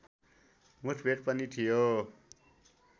मुठभेड पनि थियो